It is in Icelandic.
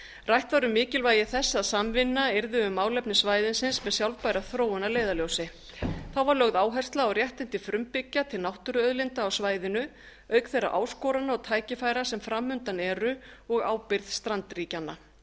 rætt var um mikilvægi þess að samvinna yrði um málefni svæðisins með sjálfbæra þróun að leiðarljósi þá var lögð áhersla á réttindi frumbyggja til náttúruauðlinda á svæðinu auk þeirra áskorana og tækifæra sem fram undan eru og ábyrgð strandríkjanna